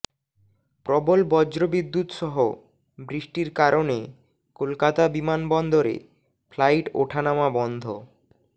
প্রবল বজ্রবিদ্যুৎ সহ বৃষ্টির কারণে কলকাতা বিমানবন্দরে ফ্লাইট ওঠানামা বন্ধ